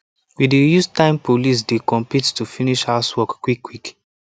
we dey use time police dey compete to finish housework quickquick